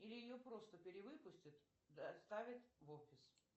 или ее просто перевыпустят доставят в офис